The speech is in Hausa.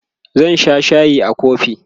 zan Sha shayi a kofi